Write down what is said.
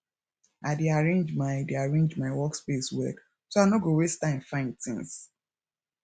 i dey arrange my dey arrange my workspace well so i no go waste time find things